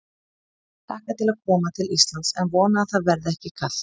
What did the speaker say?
Ég hlakka til að koma til Íslands en vona að það verði ekki kalt.